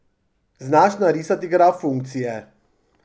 Znaš narisati graf funkcije.